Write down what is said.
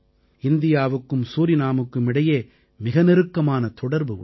இந்தியாவுக்கும் சூரினாமுக்கும் இடையே மிக நெருக்கமான தொடர்பு உண்டு